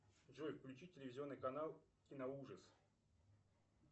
джой включи телевизионный канал киноужас